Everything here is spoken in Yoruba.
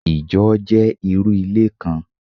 Ìjọ jẹ́ irú ilé kan